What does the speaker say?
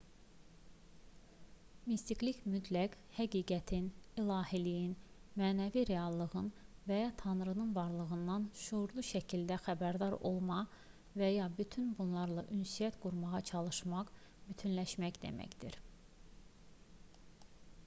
mistiklik mütləq həqiqətin ilahiliyin mənəvi reallığın və ya tanrının varlığından şüurlu şəkildə xəbərdar olma və ya bütün bunlarla ünsiyyət qurmağa çalışmaq bütünləşmək deməkdir